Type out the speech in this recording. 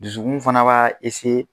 Dusu kun fana b' a